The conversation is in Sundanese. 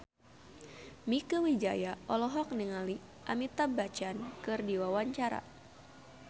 Mieke Wijaya olohok ningali Amitabh Bachchan keur diwawancara